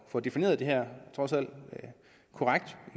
får defineret det her korrekt